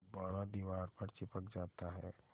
गुब्बारा दीवार पर चिपक जाता है